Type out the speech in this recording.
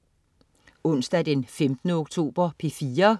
Onsdag den 15. oktober - P4: